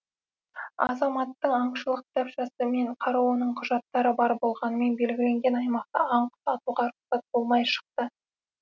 азаматтың аңшылық кітапшасы мен қаруының құжаттары бар болғанымен белгіленген аймақта аң құс атуға рұқсаты болмай шықты